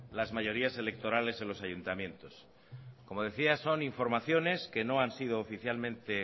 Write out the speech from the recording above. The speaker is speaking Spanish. las mayorías electorales en los ayuntamientos isiltasuna mesedez como decía esto son informaciones que no han sido oficialmente